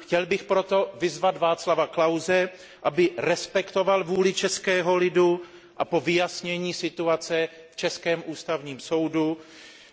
Chtěl bych proto vyzvat Václava Klause, aby respektoval vůli českého lidu a po vyjasnění situace v českém Ústavním soudu